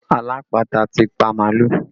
Alápatà ti pa màálù